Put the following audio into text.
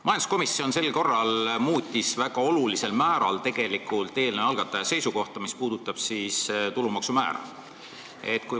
Majanduskomisjon sel korral ignoreeris väga olulisel määral eelnõu algataja seisukohta, mis puudutab tulumaksu määra.